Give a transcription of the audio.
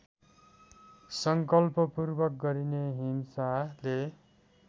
सङ्कल्पपूर्वक गरिने हिंसाले